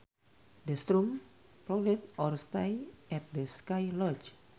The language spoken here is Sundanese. The storm prolonged our stay at the ski lodge